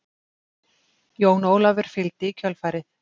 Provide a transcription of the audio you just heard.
Jón Ólafur fylgdi í kjölfarið.